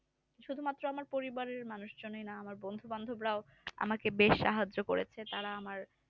শুধুমাত্র আমার পরিবারের মানুষের নাম বন্ধুবান্ধব রাও আমাকে বেশ সাহায্য করেছে তারা আমার